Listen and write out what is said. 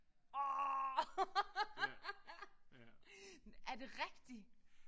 Åh! Er det rigtigt?